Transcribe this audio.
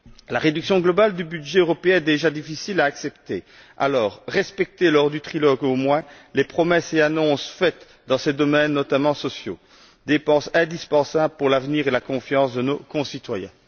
La réduction globale du budget européen est déjà difficile à accepter, alors respectez, au moins lors du trilogue, les promesses et annonces faites dans ces domaines, notamment sociaux, car ces dépenses sont indispensables pour l'avenir et la confiance de nos concitoyens.